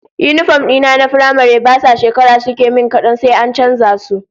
Yinifom dina na firamare ba sa shekara suke min kadan sai an canza su